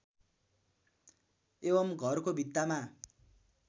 एवम् घरको भित्तामा